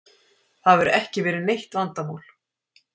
Það hefur ekki verið neitt vandamál.